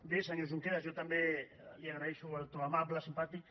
bé senyor junqueras jo també li agraeixo el to amable simpàtic